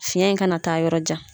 Fiyɛn in kana taa yɔrɔ jan.